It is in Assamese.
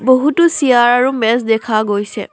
বহুতো চিয়াৰ আৰু মেজ দেখা গৈছে।